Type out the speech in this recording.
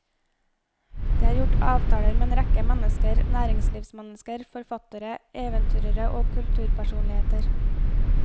Det er gjort avtaler med en rekke mennesker, næringslivsmennesker, forfattere, eventyrere og kulturpersonligheter.